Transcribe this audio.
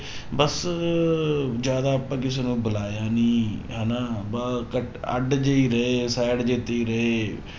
ਬਸ ਜ਼ਿਆਦਾ ਆਪਾਂ ਕਿਸੇ ਨੂੰ ਬੁਲਾਇਆ ਨੀ ਹਨਾ ਬ~ ਕੱਟ ਅੱਢ ਜਿਹੇ ਹੀ ਰਹੇ side ਜਿਹੇ ਤੇ ਹੀ ਰਹੇ